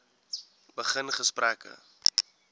begin gesprekke